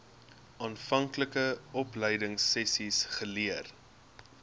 aanvanklike opleidingsessies geleer